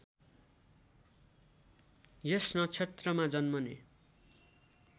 यस नक्षत्रमा जन्मने